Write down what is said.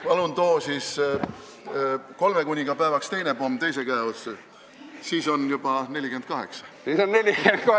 Palun too siis kolmekuningapäevaks teine pomm teise käe otsa, siis on juba 48!